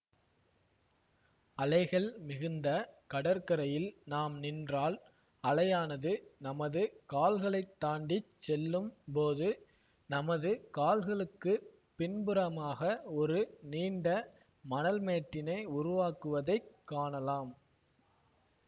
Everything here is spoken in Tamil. அலைகள் மிகுந்த கடற்கரையில் நாம் நின்றால் அலையானது நமது கால்களைத் தாண்டி செல்லும் போது நமது கால்களுக்குப் பின்புறமாக ஒரு நீண்ட மணல்மேட்டினை உருவாக்குவதைக் காணலாம்